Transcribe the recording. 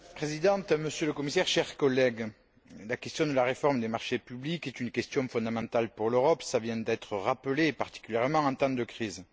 Madame la Présidente, Monsieur le Commissaire, chers collègues, la question de la réforme des marchés publics est une question fondamentale pour l'Europe, cela vient d'être rappelé, et particulièrement en temps de crise.